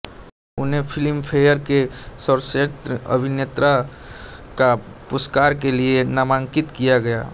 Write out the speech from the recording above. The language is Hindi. उन्हे फ़िल्म्फयेर के सर्वश्रेष्त अभिनेता का पुरस्कार के लिये नामान्कित किया गया